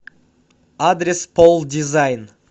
адрес полдизайн